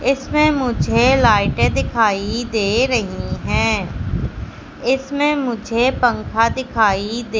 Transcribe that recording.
इसमें मुझे लाइट दिखाई दे रही है। इसमें मुझे पंखा दिखाई दे--